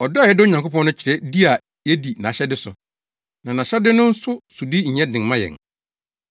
Ɔdɔ a yɛdɔ Onyankopɔn no kyerɛ di a yedi nʼahyɛde so. Na nʼahyɛde no nso sodi nyɛ den mma yɛn,